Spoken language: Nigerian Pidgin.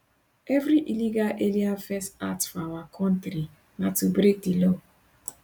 evri illegal alien first act for our kontri na to break di law